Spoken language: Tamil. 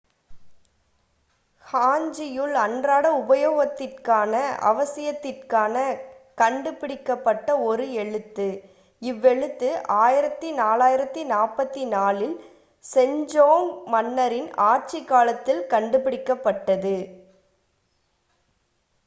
ஹாஞ்சியுல் அன்றாட உபயோகத்திற்கான அவசியத்திற்காக கண்டுபிடிக்கப்பட்ட ஒரு எழுத்து. இவ்வெழுத்து 1444-ல் செஜோங்க் மன்னரின்1418 - 1450 ஆட்சி காலத்தில் கண்டுபிடிக்கப்பட்டது